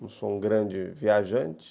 Não sou um grande viajante.